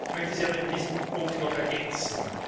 Ich möchte sie aber in diesem Punkt noch ergänzen.